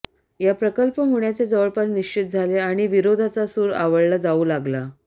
या प्रकल्प होण्याचे जवळपास निश्चित झाले आणि विरोधाचा सूर आळवला जावू लागला